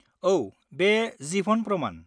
औ, बे जिभन प्रमान।